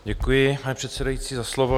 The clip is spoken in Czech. Děkuji, pane předsedající, za slovo.